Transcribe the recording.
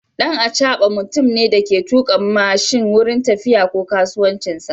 Dan acaba mutumne Dake tuka mashin wurin tafiya ko kasuwancinsa